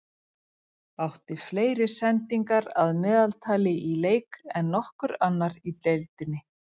Átti fleiri sendingar að meðaltali í leik en nokkur annar í deildinni.